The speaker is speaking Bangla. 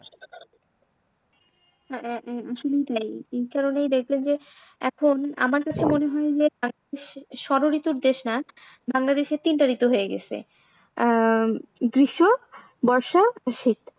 আহ আহ শুধুই তাই এই কারণেই দেখবেন যে এখন আমার কাছে মনে হয় যে ষড়ঋতুর দেশ না বাংলাদেশে তিনটা ঋতু হয়ে গেসে আহ গ্রীষ্ম বর্ষা আর শীত।